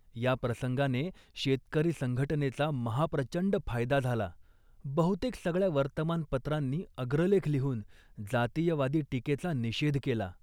या प्रसंगाने शेतकरी संघटनेचा महाप्रचंड फायदा झाला. बहुतेक सगळ्या वर्तमानपत्रांनी अग्रलेख लिहून जातीयवादी टीकेचा निषेध केला